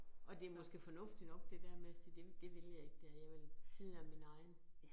Og det måske fornuftigt nok det der med sige, det det vil jeg ikke det her jeg vil, tiden er min egen